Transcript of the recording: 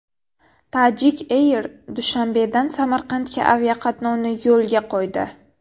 Tajik Air Dushanbedan Samarqandga aviaqatnovni yo‘lga qo‘ydi.